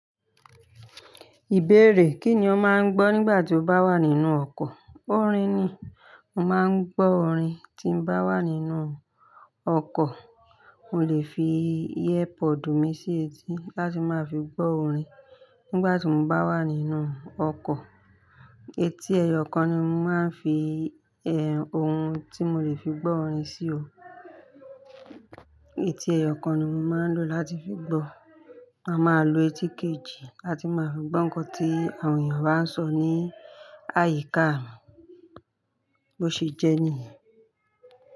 Ìbéèrè, kí ni o máa ń gbọ́ nígbà tí o bá wà nínú ọkọ̀? Orin ni, mo máa ń gbọ́ orin tí mo bá wà nínú ọkọ̀. Mo lè fi ear pod mi sí etí láti má fi gbọ́ orin nígbà tí mo bá wà nínú ọkọ̀. Etí ẹyọkan ni mo máa ń fi, eh, ohun tí mo lè fi gbọ́ orin sí o. Etí ẹyọ kan ni mo máa ń lò láti fi gbọ́, màá máa lo etí kejì láti máa fi gbọ́ nǹkan tí àwọn èèyàn bá ń sọ ní àyíká mi, bó ṣe jẹ́ ní yen.